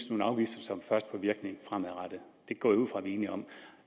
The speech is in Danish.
nogle afgifter som først får virkning fremadrettet det går jeg ud fra vi er enige om